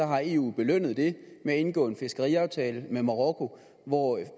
har eu belønnet det ved at indgå en fiskeriaftale med marokko hvor